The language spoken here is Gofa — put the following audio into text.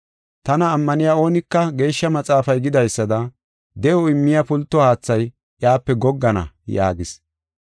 Tana ammaniya oonika Geeshsha Maxaafay gidaysada de7o immiya pulto haathay iyape goggana” yaagis.